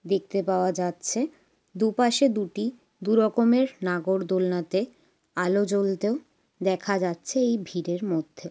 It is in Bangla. দেখতে পাওয়া যাচ্ছে দুপাশে দুটি দু রকমের নাগর দোলনাতে আলো জ্বলতেও দেখা যাচ্ছে এই ভিড়ের মধ্যে।